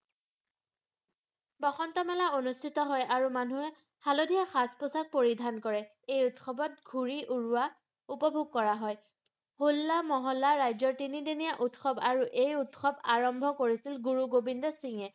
বসন্ত মেলা অনুষ্ঠিত হয় আৰু মানুহে হালধীয়া সাজ পোছাক পৰিধান কৰে এই উৎসৱত ঘূৰি উৰুৱা উপভোগ কৰা হয় হোল্লা মহল্লাৰ ৰাজ্যৰ তিনিদিনীয়া উৎসৱ আৰু এই উৎসৱ আৰম্ভ কৰিছিল গুৰু গোবিন্দ সিংহে